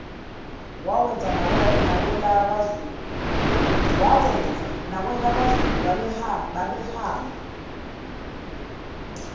wawenza nakwelakwazulu babehamba